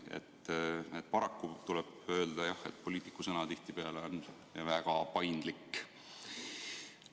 Paraku tuleb öelda, jah, et poliitiku sõna on tihtipeale väga paindlik.